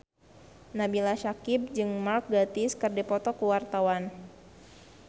Nabila Syakieb jeung Mark Gatiss keur dipoto ku wartawan